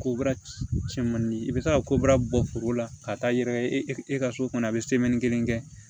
Ko baara cɛmanni ye i bɛ se ka kobaara bɔ foro la ka taa yɛrɛ e ka so kɔnɔ a bɛ kelen kɛ